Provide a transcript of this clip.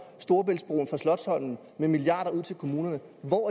storebæltsbroen fra slotsholmen med milliarder ud til kommunerne